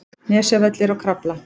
Nesjavellir og Krafla.